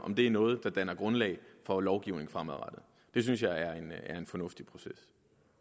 om det er noget der danner grundlag for lovgivning fremadrettet det synes jeg er en fornuftig proces